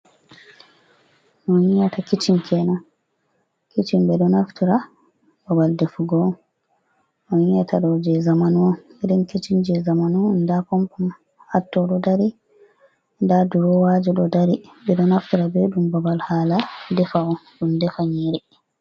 No onyiata kicin kenan kicin ɓe ɗo nauftira ɓaɓal ɗefugo, no onyiata ɗo je zamanun irin kicin je zamanun da pambo hatto ɗo ɗari ɗa ɗurowaji ɗo ɗari ,ɓe ɗo naftira ɓe ɗum ɓaɓal hala ɗefugo ɗum ɗefa nyiri.